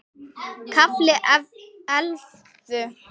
KAFLI ELLEFU